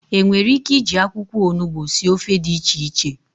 enwere ike iji akwukwo onugbu sie ofe di iche iche?